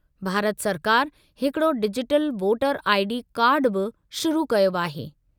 भारत सरकार हिकिड़ो digital voter ID कार्डु बि शुरू कयो आहे।